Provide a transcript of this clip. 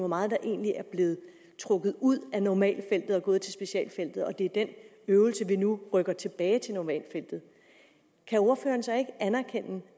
meget der egentlig er blevet trukket ud af normalfeltet og er gået til specialfeltet og det er det øvelse nu rykker tilbage til normalfeltet kan ordføreren så ikke anerkende